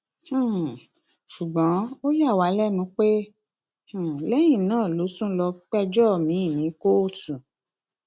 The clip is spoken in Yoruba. um ṣùgbọn ó yà wá lẹnu pé um lẹyìn náà ló tún lọọ péjọ miín sí kóòtù